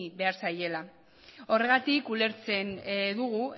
behar zaiela horregatik ulertzen dugu